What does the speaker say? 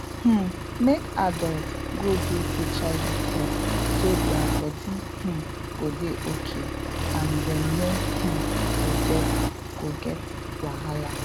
um make adults go do hiv test so their body um go dey okay and dem no um go get go get wahala